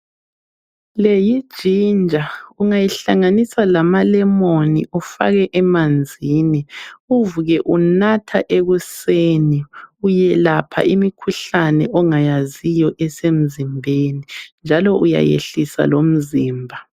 Leyi ginger ungayihlanganisa lama lemon ufake emanzini uvuke unatha ekuseni uyelapha imikhuhlane ongayaziyo esemzimbeni njalo uyayehlisa lomzimba.